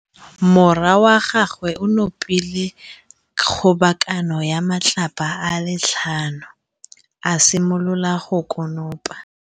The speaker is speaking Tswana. Morwa wa gagwe o nopile kgobokanô ya matlapa a le tlhano, a simolola go konopa.